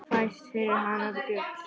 Fæst fyrir hana gull.